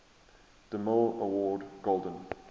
demille award golden